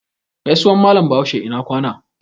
Gaisuwan Mallam Bahaushe "ina kwana".